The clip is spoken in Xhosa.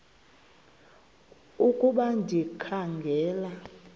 ukuba ndikha ngela